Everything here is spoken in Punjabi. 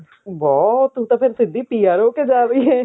ਬਹੁਤ ਤੂੰ ਤਾਂ ਫ਼ੇਰ ਸਿੱਧੀ PR ਹੋਕੇ ਜਾ ਰਹੀ ਹੈ